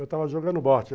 Eu estava jogando bote.